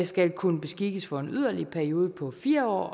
skal kunne beskikkes for en yderligere periode på fire år